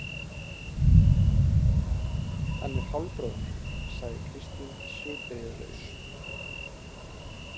Hann er hálfbróðir minn, sagði Kristín svipbrigðalaus.